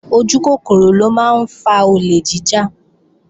Ojúkòkòrò ló máa ń fa olè jíjà